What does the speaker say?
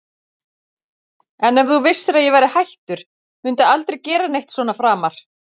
En ef þú vissir að ég væri hættur, mundi aldrei gera neitt svona framar?